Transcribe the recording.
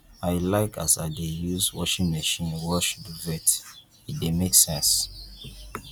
i like as i dey use washing machine wash duvet e dey make sense